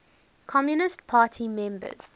communist party members